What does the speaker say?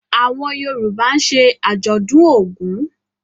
Awọn Yoruba ń ṣe ajọdun Ògún.